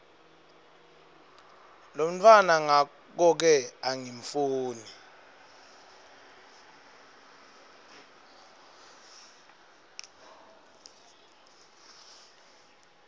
lomntfwana ngakoke angifuni